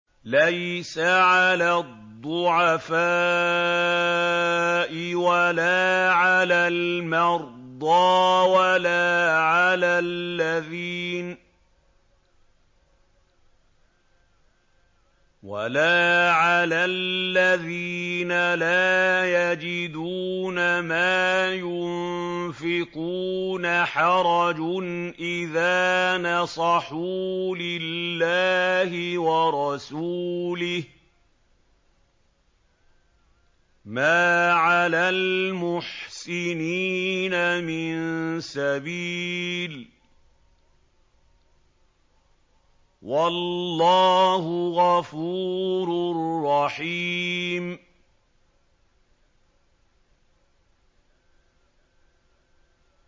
لَّيْسَ عَلَى الضُّعَفَاءِ وَلَا عَلَى الْمَرْضَىٰ وَلَا عَلَى الَّذِينَ لَا يَجِدُونَ مَا يُنفِقُونَ حَرَجٌ إِذَا نَصَحُوا لِلَّهِ وَرَسُولِهِ ۚ مَا عَلَى الْمُحْسِنِينَ مِن سَبِيلٍ ۚ وَاللَّهُ غَفُورٌ رَّحِيمٌ